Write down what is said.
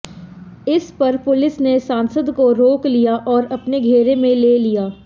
इस पर पुलिस ने सांसद को रोक लिया और अपने घेरे में ले लिया